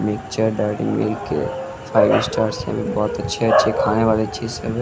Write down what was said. Picture dairy milk के five star से बहुत अच्छे अच्छे खाने वाले चीज सब है।